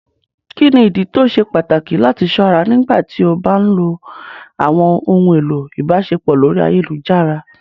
Kini idi ti o ṣe pataki lati ṣọra nigbati o ba nlo awọn ohun elo ibaṣepọ lori ayelujara?